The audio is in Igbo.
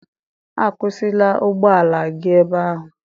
A kwụsịla ụgbọ ala gị ebe ahụ!